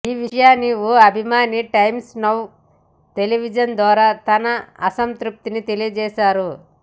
ఈ విషయాన్ని ఓ అభిమాని టైమ్స్ నౌ టెలివిజన్ ద్వారా తన అసంతృప్తిని తెలియజేశారు